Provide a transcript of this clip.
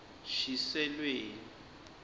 shiselweni